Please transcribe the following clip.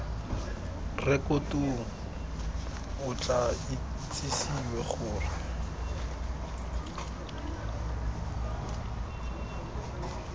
rekotong o tla itsisiwe gore